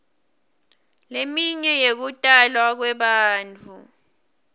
leminye yekutalwa kwebantfu